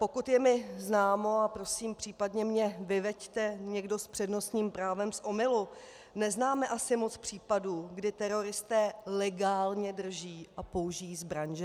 Pokud je mi známo, a prosím, případně mě vyveďte někdo s přednostním právem z omylu, neznáme asi moc případů, kdy teroristé legálně drží a použijí zbraň, že?